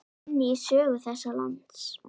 inn í sögu þessa lands.